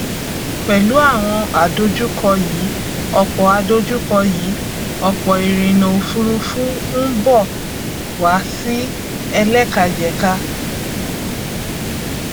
pẹlú àwọn àdojúkọ yìí ọpọ àdojúkọ yìí ọpọ ìrìnà òfurufú ń bọ wà sí ẹlẹkajẹka